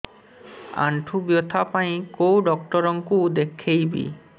ଆଣ୍ଠୁ ବ୍ୟଥା ପାଇଁ କୋଉ ଡକ୍ଟର ଙ୍କୁ ଦେଖେଇବି